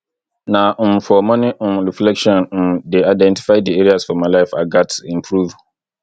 na um for morning um reflection um dey identify di areas for my life i gats improve